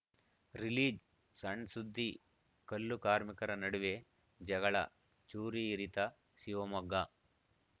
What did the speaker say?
release ಸಣ್‌ಸುದ್ದಿ ಕಲ್ಲು ಕಾರ್ಮಿಕರ ನಡುವೆ ಜಗಳ ಚೂರಿ ಇರಿತ ಶಿವಮೊಗ್ಗ